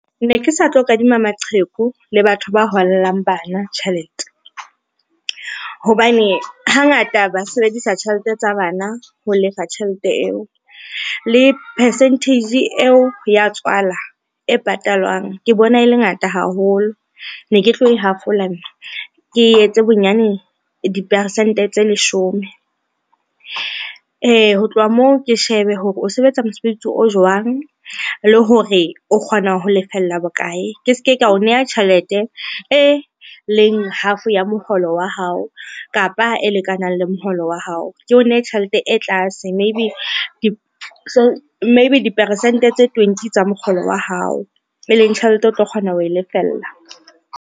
Ne ke sa tlo kadima maqheku le batho ba hollang bana tjhelete, hobane hangata ba sebedisa tjhelete tsa bana ho lefa tjhelete eo. Le percentage eo ya tswala e patalwang ke bona e le ngata haholo ne ke tlo e hafola nna, ke etse bonyane dipersente tse leshome. Ho tloha moo, ke shebe hore o sebetsa mosebetsi o jwang le hore o kgona ho lefella bokae ke se ke ka o neha tjhelete e leng half ya moholo wa hao, kapa ha e lekanang le moholo wa hao, ke o nehe tjhelete e tlase maybe diperesente tse twenty tsa mokgolo wa hao, e leng tjhelete o tlo kgona ho e lefella.